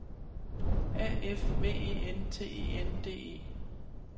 A F V E N T E N D E